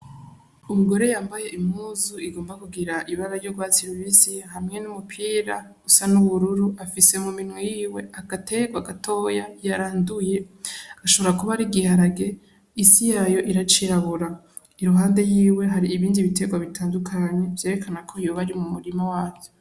Umugore yambaye impuzu igomba kugira ibara ry'urwatsi rubisi hamwe n'umupira usa n'ubururu, afise muminwe yiwe agaterwa gatoya yaranduye. Ashobora kuba ari igiharage, isi yayo iracirabura. Iruhande yiwe hari ibindi biterwa bitandukanye; vyerekana ko yoba ari mu murima wazo.